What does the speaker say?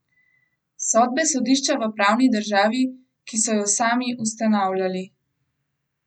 Sodbe sodišča v pravni državi, ki so jo sami ustanavljali!